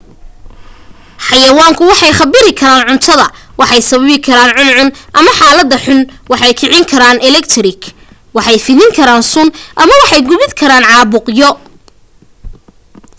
xayayaanku waxay kharibi karaan cunada waxay sababi karaan cuncun ama xaaladaha xunxun waxay kicin karaan eletgik waxay fidin karaan sun ama waxay gudbin karaan caabuqyo